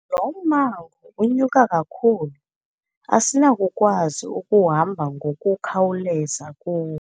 Lo mmango unyuka kakhulu asinakukwazi ukuhamba ngokukhawuleza kuwo.